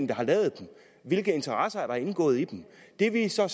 der har lavet dem hvilke interesser er der indgået i dem det vi så